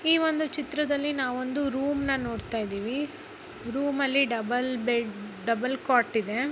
ಈ ಒಂದು ಚಿತ್ರದಲ್ಲಿ ನಾವು ಒಂದು ರೂಮ್ನ ನೋಡ್ತಾ ಇದಿವಿ. ರೂಮ್ ಅಲ್ಲಿ ಡಬುಲ್ ಬೆಡ್ ಡಬಲ್ ಕಾಟ್ ಇದೆ.